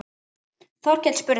Þórkell spurði